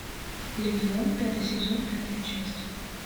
легион пятый сезон пятая часть